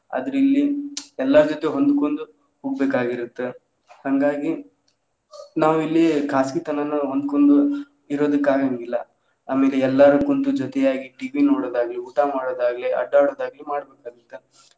ಆದ್ರ ಇಲ್ಲಿ ಎಲ್ಲಾರ ಜೊತೆ ಹೊಂದಕೊಂಡು ಹೋಗಬೇಕ ಅಗಿರುತ್ತ ಹಂಗಾಗಿ ನಾವ ಇಲ್ಲಿ ಖಾಸಗಿ ತನನ್ನ ಹೊಂದ್ಕೊಂಡ್ ಇರೋದಕ್ಕ್ ಆಗಾಂಗಿಲ್ಲ ಅಲ್ಲಿ ಎಲ್ಲಾರ ಕುಂತ್ ಜೊತೆಯಾಗಿ TV ನೋಡೋದಾಗ್ಲಿ ಊಟಾ ಮಾಡೋದ ಆಗ್ಲಿ ಅಡ್ಯಾಡೊದ ಆಗ್ಲಿ ಮಾಡಬೇಕ್ ಆಗುತ್ತೆ.